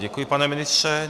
Děkuji, pane ministře.